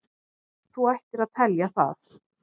Þú ættir að telja það.